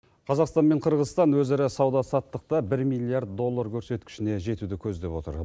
қазақстан мен қырғызстан өзара сауда саттықта бір миллиард доллар көрсеткішіне жетуді көздеп отыр